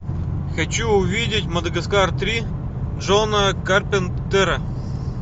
хочу увидеть мадагаскар три джона карпентера